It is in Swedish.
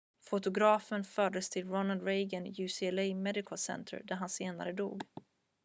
fotografen fördes till ronald reagan ucla medical center där han senare dog